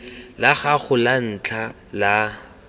la gago la ntlha la